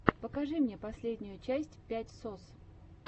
покажи мне последнюю часть пять сос